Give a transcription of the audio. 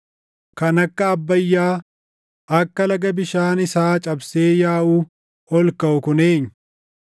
“Kan akka Abbayyaa, akka laga bishaan isaa cabsee yaaʼuu ol kaʼu kun eenyu?